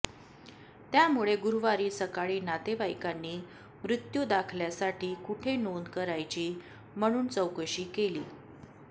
त्यामुळे गुरुवारी सकाळी नातेवाईकांनी मृत्यू दाखल्यासाठी कुठे नोंद करायची म्हणून चौकशी केली